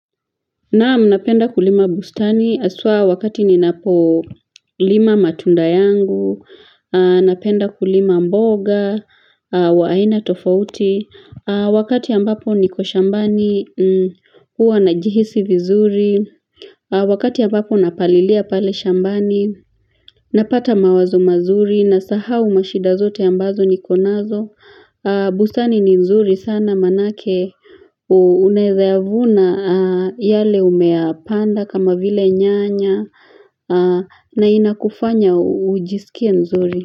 Na'am napenda kulima bustani haswa wakati ninapolima matunda yangu napenda kulima mboga wa aina tofauti wakati ambapo niko shambani huwa na jihisi vizuri wakati ambapo napalilia pale shambani napata mawazo mazuri nasahau mashida zote ambazo niko nazo. Bustani ni nzuri sana manake unaeza vuna yale umeyapanda kama vile nyanya, na inakufanya ujisikie nzuri.